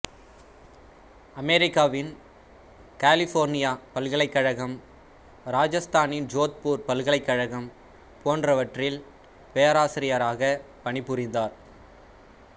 அமெரிக்காவின் கலிபோர்னியா பல்கலைக்கழகம் இராஜஸ்தானின் ஜோத்பூர் பல்கலைக்கழகம் போன்றவற்றில் பேராசிரியராகப் பணிபுரிந்தார்